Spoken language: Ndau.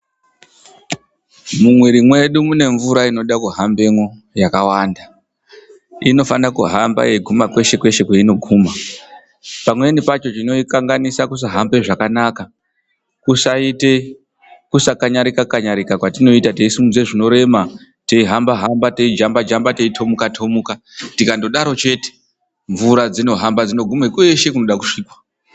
Mumwiri medu mune mvura inoda kuhambamo yakawanda Inofana kuhamba yeiguma kweshe kweshe kwainga guma. Pamweni chinoitadzisa kuhamba zvakanaka kusakanyarika -kanyarika kwatioita teisimudza zvinorema teijamba jamba kana kurumba rumba tikangodaro chete mvura dzinohamba dzeiguma kwese kunoda kusvikwa.